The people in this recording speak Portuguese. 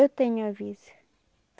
Eu tenho aviso.